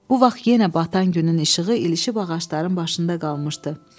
Bu vaxt yenə batan günün işığı ilişib ağacların başında da qalmışdı.